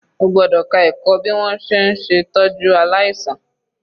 O gbọ́dọ̀ ka ẹ̀kọ́ bí wọn ṣe ń ṣè tọ́jú aláìsàn.